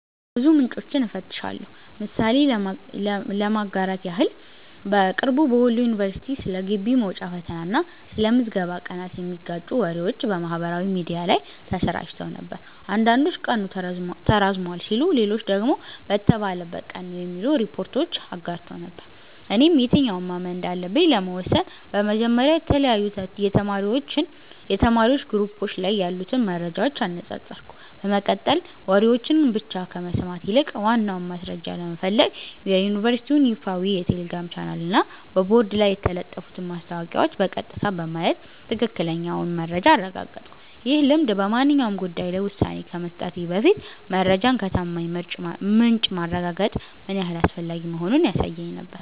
ብዙ ምንጮችን እፈትሻለሁ። ምሳሌ ለማጋራት ያህል፦ በቅርቡ በወሎ ዩኒቨርሲቲ ስለ ግቢ መውጫ ፈተና እና ስለ ምዝገባ ቀናት የሚጋጩ ወሬዎች በማህበራዊ ሚዲያ ላይ ተሰራጭተው ነበር። አንዳንዶች ቀኑ ተራዝሟል ሲሉ፣ ሌሎች ደግሞ በተባለበት ቀን ነው የሚሉ ሪፖርቶችን አጋርተው ነበር። እኔም የትኛውን ማመን እንዳለብኝ ለመወሰን በመጀመሪያ የተለያዩ የተማሪዎች ግሩፖች ላይ ያሉትን መረጃዎች አነጻጸርኩ፤ በመቀጠልም ወሬዎችን ብቻ ከመስማት ይልቅ ዋናውን ማስረጃ ለመፈለግ የዩኒቨርሲቲውን ይፋዊ የቴሌግራም ቻናልና በቦርድ ላይ የተለጠፉትን ማስታወቂያዎች በቀጥታ በማየት ትክክለኛውን መረጃ አረጋገጥኩ። ይህ ልምድ በማንኛውም ጉዳይ ላይ ውሳኔ ከመስጠቴ በፊት መረጃን ከታማኝ ምንጭ ማረጋገጥ ምን ያህል አስፈላጊ መሆኑን ያሳየኝ ነበር።